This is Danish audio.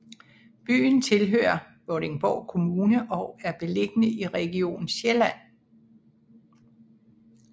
Byen tilhører Vordingborg Kommune og er beliggende i Region Sjælland